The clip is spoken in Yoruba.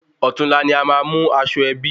Òtún la ni a má mú aṣọ ẹbí